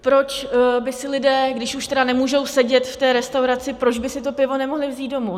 Proč by si lidé, když už tedy nemůžou sedět v té restauraci, proč by si to pivo nemohli vzít domů?